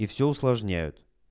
и все усложняют